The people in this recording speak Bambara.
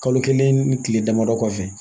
Kalo kelen ni kile damadɔ kɔfɛ